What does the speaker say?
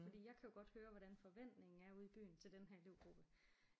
Fordi jeg kan jo godt høre hvordan forventningen er ude i byen til den her elevgruppe